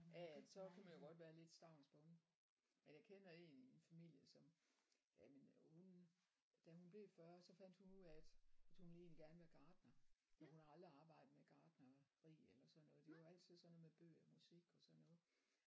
Ja ja så kan man jo godt være lidt stavnsbunden men jeg kender én i min familie som jamen hun da hun blev 40 så fandt hun ud af at at hun ville egentlig gerne være gartner men hun har aldrig arbejdet med gartneri eller sådan noget det var altid sådan noget med bøger og musik og sådan noget